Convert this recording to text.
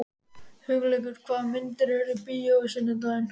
Hugleikur, hvaða myndir eru í bíó á sunnudaginn?